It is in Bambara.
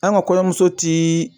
An ka kɔɲɔmuso ti.